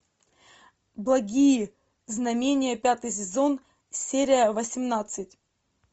благие знамения пятый сезон серия восемнадцать